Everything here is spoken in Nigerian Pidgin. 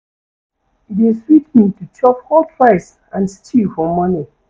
E dey sweet me to chop hot rice and stew for morning.